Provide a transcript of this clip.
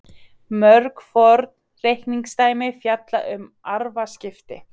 mörg forn reikningsdæmi fjalla um arfaskipti